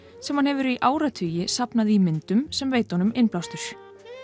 sem hann hefur í áratugi safnað í myndum sem veita honum innblástur